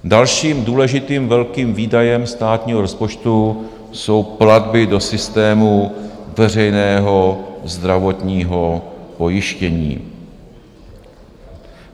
Dalším důležitým velkým výdajem státního rozpočtu jsou platby do systému veřejného zdravotního pojištění.